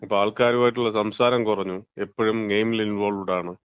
ഇപ്പം ആൾക്കാരായിട്ടുള്ള സംസാരം കുറഞ്ഞു. എപ്പഴും ഗെയിമില് ഇൻവോൾവ്ഡ് ആണ്.